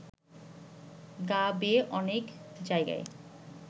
গা বেয়ে অনেক জায়গায়